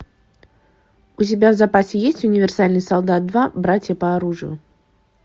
у тебя в запасе есть универсальный солдат два братья по оружию